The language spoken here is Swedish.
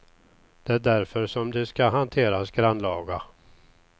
Det är därför som de ska hanteras grannlaga.